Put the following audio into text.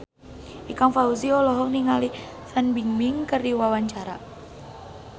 Ikang Fawzi olohok ningali Fan Bingbing keur diwawancara